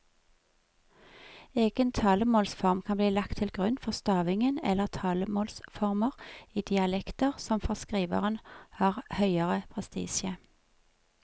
Egen talemålsform kan bli lagt til grunn for stavingen eller talemålsformer i dialekter som for skriveren har høgere prestisje.